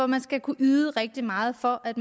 man skal kunne yde rigtig meget for at